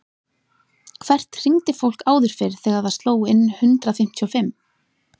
Hvert hringdi fólk áður fyrr þegar það sló inn hundrað fimmtíu og fimm?